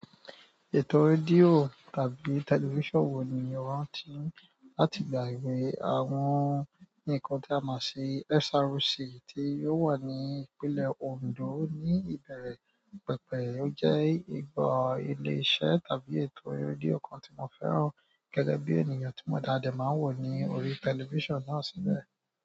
Ètò rédíò tàbí tẹlifísàn wo ni o máa ń tí láti ìgbà èwe? Àwọn nǹkan tí a mọ sí SRC tí ò wà ní Ìpínlẹ̀ Ondo ní ìbẹ̀rẹ̀ pẹ̀pẹ̀? Ó jẹ́ ìbò ilé-iṣẹ́ tàbí ètò rédíò kan tí mo fẹ́ràn gẹ́gẹ́ bí ènìyàn ta de máa ń wò ní orí tẹlifísàn náà síbẹ̀.